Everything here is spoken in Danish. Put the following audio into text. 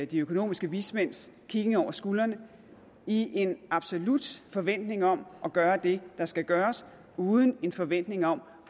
de økonomiske vismænds kiggen over skulderen i en absolut forventning om at gøre det der skal gøres uden en forventning om